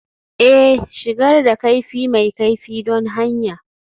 Ee, shigar da kaifi mai kaifi don hanya